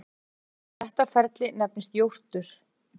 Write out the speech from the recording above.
Þetta ferli nefnist jórtur.